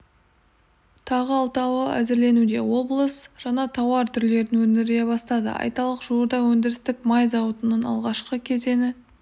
тағы алтауы әзірленуде облыс жаңа тауар түрлерін өндіре бастады айталық жуырда өндірістік май зауытының алғашқы кезеңі